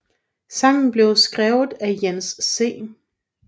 Sangen blev skrevet af Jens C